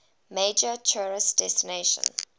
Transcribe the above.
major tourist destination